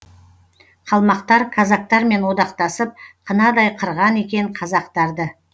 қалмақтар казактармен одақтасып қынадай қырған екен қазақтарды